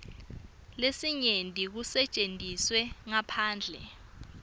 lesinyenti kusetjentiswe ngaphandle